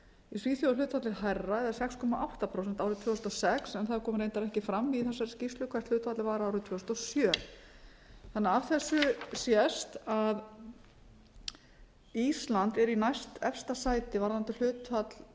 í svíþjóð er hlutfallið hærra eða sex komma átta prósent árið tvö þúsund og sex en það kom reyndar ekki fram í þessari skýrslu hvert hlutfallið var árið tvö þúsund og sjö þannig að af þessu sést að ísland er í næstefsta sæti varðandi hlutfall